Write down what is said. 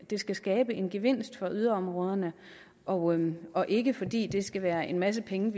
det skal skabe en gevinst for yderområderne og og ikke fordi det skal være en masse penge